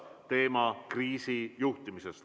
Teema on kriisi juhtimine.